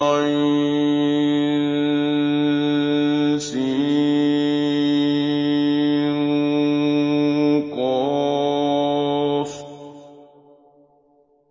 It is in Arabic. عسق